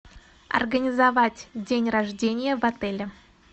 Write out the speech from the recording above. организовать день рождения в отеле